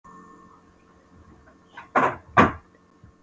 hafi frá því að hæfa hennar sígaunalega andliti.